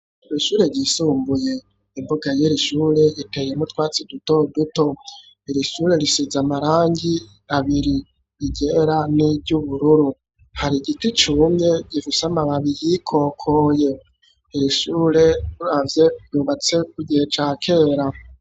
Ishure ryisumbuye, imbuga y'iri shure, iteyemwo utwatsi, duto duto; iri shure, risize amarangi abiri, iryera, n'iry'ubururu; hari igiti cumye, gifise amababi yikokoye, iri shure uravye, ryubatse ku gihe ca kera.